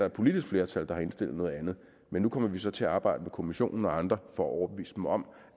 et politisk flertal der har indstillet noget andet men nu kommer vi så til at arbejde med kommissionen og andre for at overbeviste om